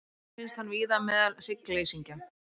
Auk þess finnst hann víða meðal hryggleysingja.